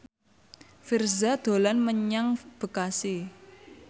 Virzha dolan menyang Bekasi